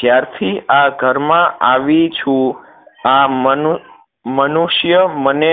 જ્યાર થી આ ઘર માં આવી છું આ મનુ મનુષ્ય મને